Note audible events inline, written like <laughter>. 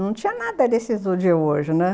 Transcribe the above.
Não tinha nada desses hoje, <unintelligible> né?